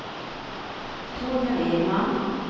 Torbjörn Edman